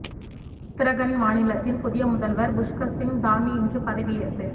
உத்தரகண்ட் மாநிலத்தின் புதிய முதல்வா் புஷ்கா் சிங் தாமி இன்று பதவியேற்பு